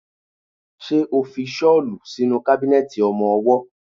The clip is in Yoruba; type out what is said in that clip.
Ṣo fi ṣọ́lù sínú kábínẹ̀tì ọmọwọ́?